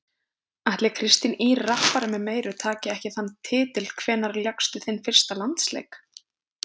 Ætli Kristín Ýr rappari með meiru taki ekki þann titil Hvenær lékstu þinn fyrsta landsleik?